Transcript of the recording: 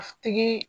Tigi